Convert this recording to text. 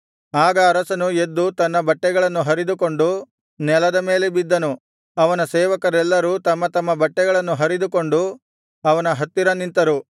ಆಗ ಅರಸನು ಎದ್ದು ತನ್ನ ಬಟ್ಟೆಗಳನ್ನು ಹರಿದುಕೊಂಡು ನೆಲದ ಮೇಲೆ ಬಿದ್ದನು ಅವನ ಸೇವಕರೆಲ್ಲರೂ ತಮ್ಮ ತಮ್ಮ ಬಟ್ಟೆಗಳನ್ನು ಹರಿದುಕೊಂಡು ಅವನ ಹತ್ತಿರ ನಿಂತರು